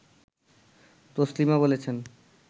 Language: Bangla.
তসলিমা বলেছেন